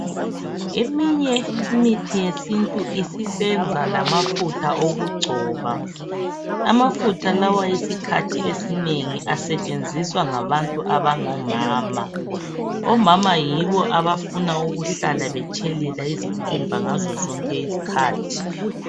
Eminye imithi yesintu isisenza lamafutha okugcoba. Amafutha lawa isikhathi esinengi asetshenziswa ngabantu abangomama. Omama yibo abafuna ukuhlala betshelelela izikhumba ngazozonke izikhathi .